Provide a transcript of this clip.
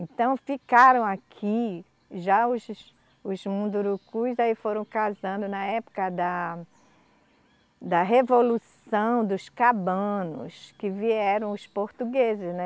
Então ficaram aqui, já os, os Mundurukus aí foram casando na época da, da Revolução dos Cabanos, que vieram os portugueses, né.